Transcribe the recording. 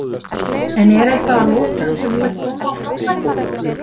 En er eitthvað að lokum sem þú vilt koma á framfæri?